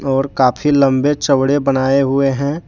और काफी लंबे चौड़े बनाए हुए हैं।